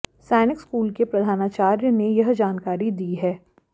सैनिक स्कूल के प्रधानाचार्य ने यह जानकारी दी है